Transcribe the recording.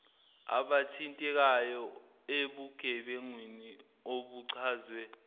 abathintekayo ebugebengwini obuchazwe